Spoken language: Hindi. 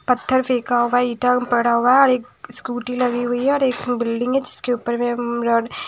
पत्थर फेका होगा ईटा पड़ा होगा एक स्कूटी लगी हुई है और एक बिल्डिंग है जीसके ऊपर मे रा--